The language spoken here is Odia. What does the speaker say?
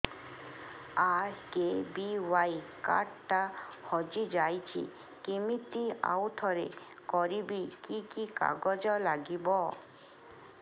ଆର୍.କେ.ବି.ୱାଇ କାର୍ଡ ଟା ହଜିଯାଇଛି କିମିତି ଆଉଥରେ କରିବି କି କି କାଗଜ ଲାଗିବ